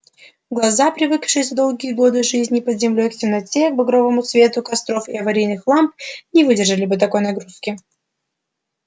глаза привыкшие за долгие годы жизни под землёй к темноте к багровому свету костров и аварийных ламп не выдержали бы такой нагрузки